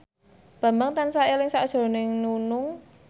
Bambang tansah eling sakjroning Nunung